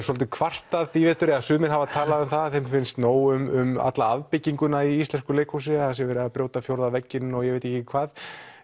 svolítið kvartað í vetur sumir hafa talað um það að þeim finnst nóg um alla afbygginguna í íslensku leikhúsi það sé verið að brjóta fjórða vegginn og ég veit ekki hvað